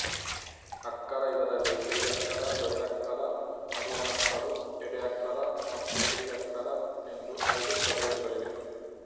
ಅಕ್ಕರ ಇದರಲ್ಲಿ ಪಿರಿಯಕ್ಕರ ದೊರೆಯಕ್ಕರ ನಡುವಣಕ್ಕರು ಎಡೆಯಕ್ಕರ ಮತ್ತು ಕಿರಿಯಕ್ಕರ ಎಂದು ಐದು ಪ್ರಭೇದಗಳಿವೆ